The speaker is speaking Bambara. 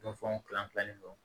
Don fɛnw kilan kilanni dɔ